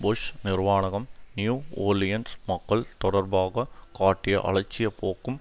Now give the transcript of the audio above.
push நிர்வானகம் New Orleans மக்கள் தொடர்பாக காட்டிய அலட்சியப்போக்கும்